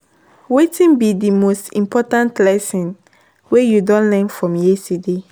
Wetin be di most important lesson wey you don learn from yesterday?